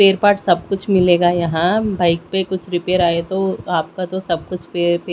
pair part सब कुछ मिलेगा यहां बाइक पे कुछ रिपेयर आए तो आपका तो सब कुछ पेयर पे--